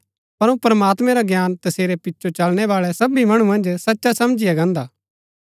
पर प्रमात्मैं रा ज्ञान तसेरी पिचो चलणै बाळै सभी मणु मन्ज सचा समझिया गान्दा